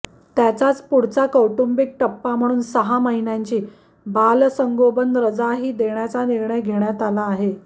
त्याच्याच पुढचा कौटुंबिक टप्पा म्हणून सहा महिन्यांची बालसंगोपन रजाही देण्याचा निर्णय घेण्यात आला आहे